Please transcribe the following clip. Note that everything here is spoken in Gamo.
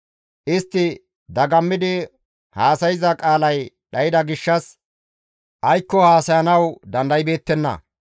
«Istti dagammidi haasayza qaalay dhayda gishshas aykko haasayanawu dandaybeettenna.